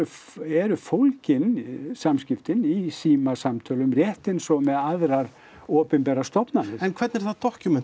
eru fólgin samskiptin í símasamtölum rétt eins og með aðrar opinberar stofnanir en hvernig er það